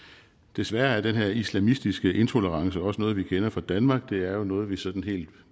desværre er den her islamistiske intolerance også noget vi kender fra danmark det er jo noget vi sådan helt